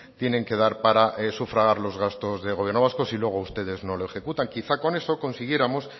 tienen que dar para sufragar los gastos del gobierno vasco si luego ustedes no lo ejecutan quizá con eso consiguiéramos